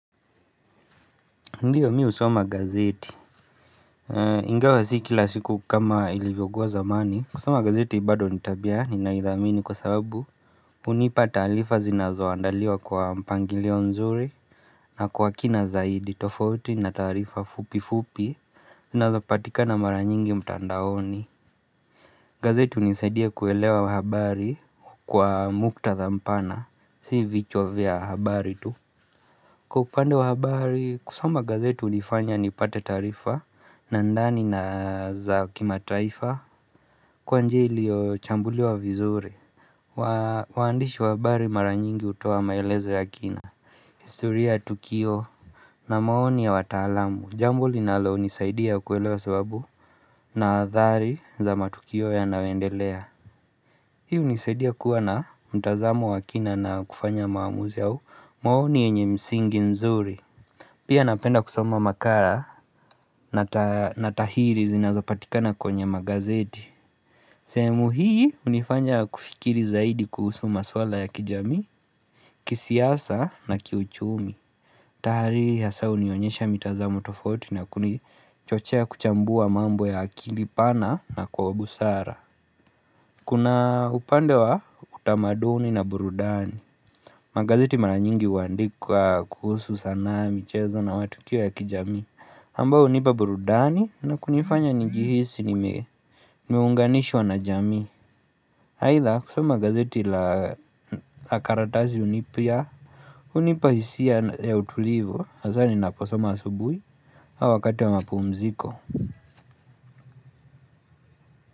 Ndiyo mi usoma gazeti Ingawa si kila siku kama ilivyokuwa zamani kusoma gazeti bado nitabia ninaidhamini kwa sababu Unipata taarifa zinazo andaliwa kwa mpangilio nzuri na kwa kina zaidi tofauti na taarifa fupi fupi zinazo patika na mara nyingi mtandaoni gazeti unisaidia kuelewa habari kwa muktadhampana Si vichwa vya habari tu Kwa upande wa habari kusoma gazeti unifanya nipate taarifa na ndani na za kima taaifa Kwa njia iliyo chambuli wa vizuri Waandishi wa habari maranyingi hutoa maelezo ya kina historia Tukio na maoni ya watalamu Jamb linalo nisaidia kuelewa sababu na adhari za matukio ya nayoendelea Hii unisaidia kuwa na mtazamo wa kina na kufanya maamuzi au maoni yenye msingi nzuri Pia napenda kusoma makara na tahiri zinazapatika na kwenye magazeti sehemu hii unifanya kufikiri zaidi kuhusu maswala ya kijamii kisiasa na kiuchumi Tahari hasa unionyesha mitazamo tofauti na kuni chochea kuchambua mambo ya akili pana na kwa ubusara Kuna upande wa utamaduni na burudani Magazeti maranyingi huandika kuhusu sana michezo na watu kio ya kijamii ambao hunipa burudani na kunifanya njihisi ni meunganishwa na jamii Haitha kusoma gazeti la karatasi unipia unipa hisia ya utulivo Hazani naposoma asubui au wakati wa mapu mziko.